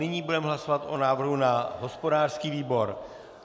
Nyní budeme hlasovat o návrhu na hospodářský výbor.